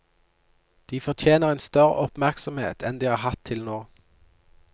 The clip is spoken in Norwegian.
De fortjener en større oppmerksomhet enn de har hatt til nå.